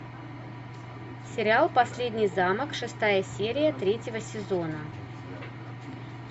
сериал последний замок шестая серия третьего сезона